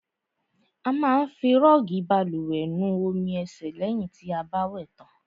A má ń fi rọọgi bálùwẹ̀ nu omi ẹ̀sẹ̀ lẹ̀hìn ti a bá wẹ̀ tàn.